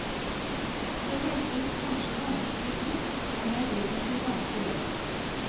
Det hørtes kanskje vanskelig ut, men det er egentlig ganske lett.